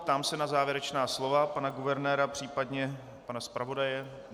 Ptám se na závěrečná slova pana guvernéra, případně pana zpravodaje.